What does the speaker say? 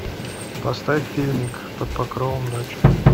поставь фильмик под покровом ночи